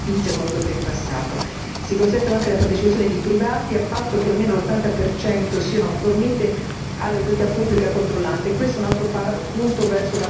Si consente anche la partecipazione di privati, a patto che almeno l'ottanta percento sia fornito all'autorità pubblica controllante e questo è un altro punto verso la chiarezza e la trasparenza.